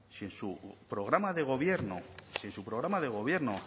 si en su programa de gobierno si en su programa de gobierno